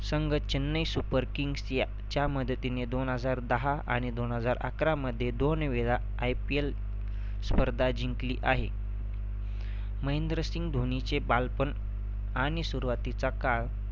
संघ Chennai super kings या च्या मदतीने दोन हजार दहा आणि दोन हजार अकरामध्ये दोन वेळा IPL स्पर्धा जिंकली आहे. महेंद्रसिंह धोनीचे बालपण आणि सुरुवातीचा काळ